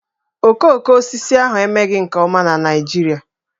Okoko osisi ahụ emeghị nke ọma na Naịjirịa